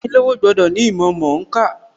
Ayánilówó gbọ́dọ̀ ní ìmọ̀ mọ̀ọ́kà.